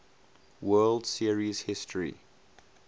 world series history